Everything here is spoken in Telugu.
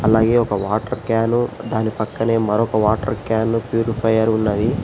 అలాగే ఒక వాటర్ క్యాను దాని పక్కనే మరొక వాటర్ క్యాను ప్యూరిఫైయరు ఉన్నది.